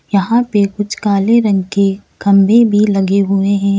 यहां पे कुछ काले रंग के खंभे भी लगे हुए हैं।